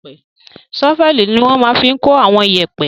Ṣọ́fẹ̀ ni wọ́n máa fi n kó àwọn iyẹ̀pẹ̀